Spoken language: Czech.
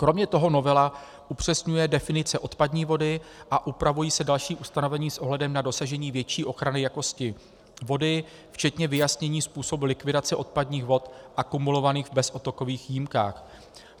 Kromě toho novela upřesňuje definice odpadní vody a upravují se další ustanovení s ohledem na dosažení větší ochrany jakosti vody, včetně vyjasnění způsobů likvidace odpadních vod akumulovaných v bezodtokových jímkách.